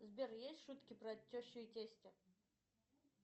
сбер есть шутки про тещу и тестя